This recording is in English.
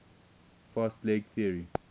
fast leg theory